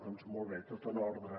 doncs molt bé tot en ordre